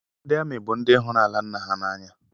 Ndị amị bun dị huru ala nna ha n’anya